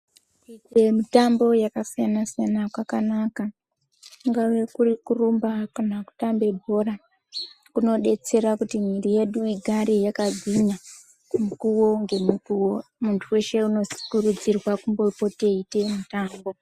Mitambo yakasiyana siyana kwakanaka kungave kuri kurumba kana kutambe bhora kunodetsera kuti mhiri yedu igare yakagwinya mukuo ngemukuo muntu weshe unokurudzirwa kumbopote eimboita mutambo.